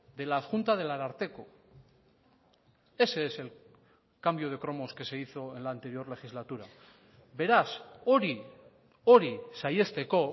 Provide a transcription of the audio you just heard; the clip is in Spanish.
de la adjunta del ararteko ese es el cambio de cromos que se hizo en la anterior legislatura beraz hori hori saihesteko